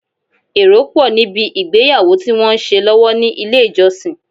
Èrò pọ̀ ní bi ìgbéyàwó tí wọ́n ń ṣe lọ́wọ́ ní ilé ìjọsìn.